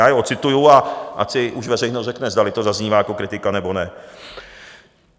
Já je ocituji, a ať si už veřejnost řekne, zdali to zaznívá jako kritika, nebo ne.